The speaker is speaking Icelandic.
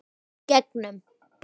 Í gegnum